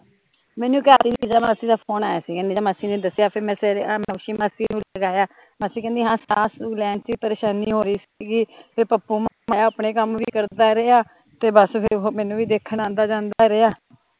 ਮੈਂਨੂ ਮਾਸੀ ਦਾ ਫ਼ੋਨ ਆਇਆ ਸੀ, ਜਦੋਂ ਮਾਸੀ ਨੇ ਦੱਸਿਆ ਫਿਰ ਮੈਂ ਸਵੇਰੇ ਹੋਸ਼ੀ ਮਾਸੀ ਨੂ ਲਗਾਇਆ, ਮਾਸੀ ਕਹਿਦੀ ਹਾਂ ਸਾਹ ਸੂਹ ਲੈਣ ਚ ਪਰੇਸ਼ਾਨੀ ਹੋ ਰਹੀ ਸੀਗੀ ਤੇ ਪੱਪੂ ਮੋਇਆ ਅਪਣੇ ਕੰਮ ਵੀ ਕਰਦਾ ਰਿਹਾ ਤੇ ਬਸ ਫਿਰ ਮੈਂਨੂੰ ਦੇਖਣ ਆਉਂਦਾ ਜਾਂਦਾ ਰਿਹਾ